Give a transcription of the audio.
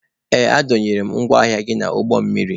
Ee, a dọnyere m ngwa ahịa gị n'ụgbọ mmiri